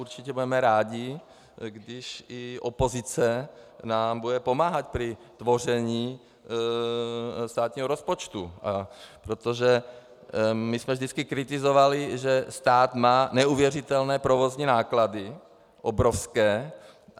Určitě budeme rádi, když i opozice nám bude pomáhat při tvorbě státního rozpočtu, protože my jsme vždycky kritizovali, že stát má neuvěřitelné provozní náklady, obrovské.